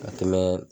Ka tɛmɛ